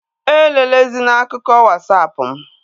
E lelezina akụkọ Wasapụ mụ!